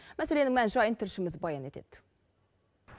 мәселенің мән жайын тілшіміз баян етеді